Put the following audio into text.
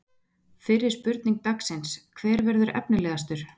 Fyrri spurning dagsins: Hver verður efnilegastur?